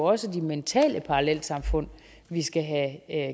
også mentale parallelsamfund vi skal have